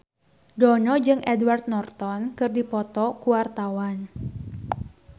Dono jeung Edward Norton keur dipoto ku wartawan